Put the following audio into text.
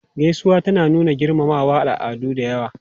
Gaisuwa tana nuna girmamawa a al'adu da yawa.